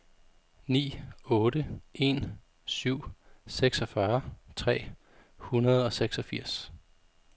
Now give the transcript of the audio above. ni otte en syv seksogfyrre tre hundrede og seksogfirs